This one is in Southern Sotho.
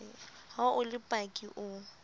ha o le paki o